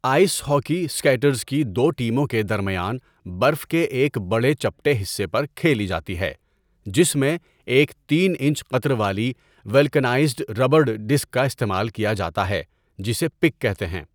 Ice hockey skaters کی دو ٹیموں کے درمیان برف کے ایک بڑے چپٹے حصے پر کھیلی جاتی ہے، جس میں ایک تین انچ قطر والی ولکانائزڈ ربڑ ڈسک کا استعمال کیا جاتا ہے جسے پک کہتے ہیں۔